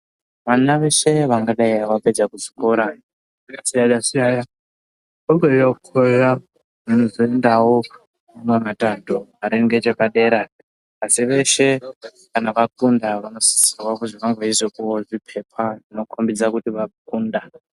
Vana veshe vangadai vapedza kuzvikora zvakasiyana siyana vangadai veikorera chindau asi veshe vapedza vanosisa kupiwa zvipepa zvinenge zveiratidza zvavabuda nazvo muzvidzidzo zvavo.